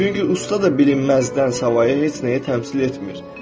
Çünki usta da bilinməzdən savayı heç nəyi təmsil etmir.